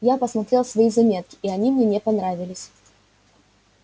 я посмотрел свои заметки и они мне не понравились